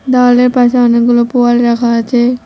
দেওয়ালের পাশে অনেকগুলো পোয়াল রাখা আছে।